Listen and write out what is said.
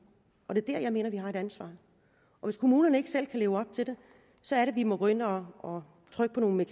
og det er der jeg mener at vi har et ansvar og hvis kommunerne ikke selv kan leve op til det så er det vi må gå ind og og trykke på nogle